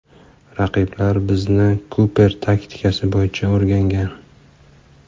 Raqiblar bizni Kuper taktikasi bo‘yicha o‘rgangan.